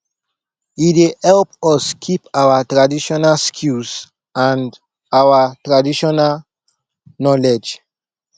e dey help us keep our traditional skills and ouir traditional knowledge